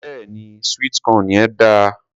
Béèni sweet corn yẹn dáa.